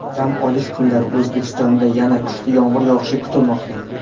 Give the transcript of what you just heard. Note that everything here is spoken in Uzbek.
Dam olish kunlari O‘zbekistonda yana kuchli yomg‘ir yog‘ishi kutilmoqda.